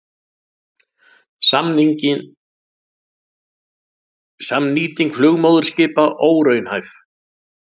Samnýting flugmóðurskipa óraunhæf